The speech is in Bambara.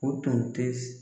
O tun te .